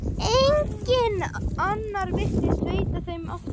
Enginn annar virtist veita þeim eftirtekt.